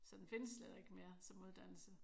Så den findes slet ikke mere som uddannelse